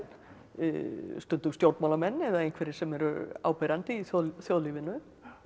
stundum stjórnmálamenn eða einhverjir sem eru áberandi í þjóðlífinu